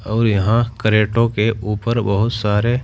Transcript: और यहां क्रेटों के ऊपर बहुत सारे--